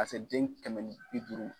Ka se den kɛmɛ ni bi duuru.